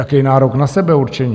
Jaký nárok na sebeurčení?